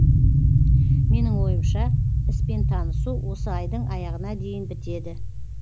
менің ойымша іспен танысу осы айдың аяғына дейін бітеді